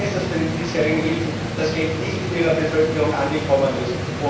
Ich weiß, dass bei den diesjährigen Hilfen das Geld nicht in Ihrer Bevölkerung angekommen